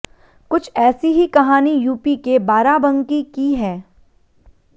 कुछ ऐसी ही कहानी यूपी के बाराबंकी की है